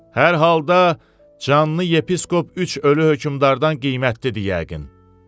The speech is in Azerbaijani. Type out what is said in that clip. Hər halda canlı yepiskop üç ölü hökmdərdən qiymətlidir yəqin.